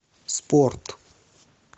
спорт